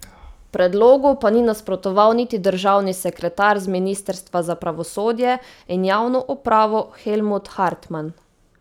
Predlogu pa ni nasprotoval niti državni sekretar z ministrstva za pravosodje in javno upravo Helmut Hartman.